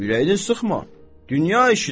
Ürəyini sıxma, dünya işidir.